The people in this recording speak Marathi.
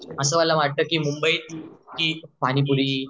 असं मला वाटतं की मुंबईतची पाणीपुरी